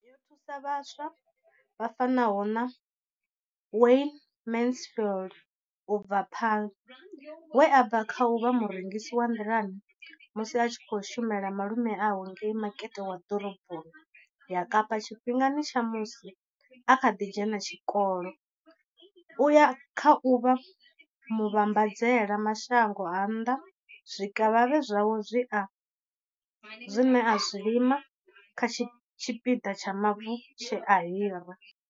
Yo thusa vhaswa vha fanaho na Wayne Mansfield 33 u bva Paarl, we a bva kha u vha murengisi wa nḓilani musi a tshi khou shumela malume awe ngei makete wa ḓoroboni ya Kapa tshifhingani tsha musi a kha ḓi dzhena tshikolo u ya kha u vha muvhambadzela mashango a nnḓa zwikavhavhe zwawe zwine a zwi lima kha tshipiḓa tsha mavu tshe a hira.